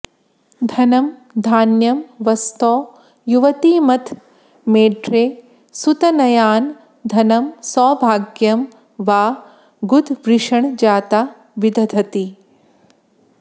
धनं धान्यं बस्तौ युवतिमथ मेढ्रे सुतनयान् धनं सौभाग्यं वा गुदवृषणजाता विदधति